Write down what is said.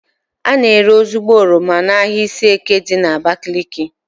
A na-ere ezigbo oroma n'ahia Ishieke dị n'Abakaliki